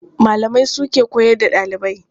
Malamai su ke koyar da ɗalibai.